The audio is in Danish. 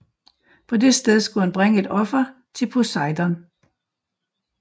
På det sted skulle han bringe et offer til Poseidon